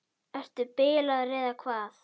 Ertu bilaður eða hvað?